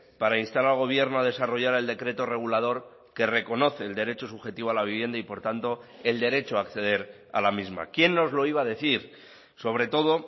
para instar al gobierno a desarrollar el decreto regulador que reconoce el derecho subjetivo a la vivienda y por tanto el derecho a acceder a la misma quién nos lo iba a decir sobre todo